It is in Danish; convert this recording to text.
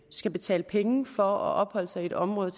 skal betale penge for at opholde sig i et område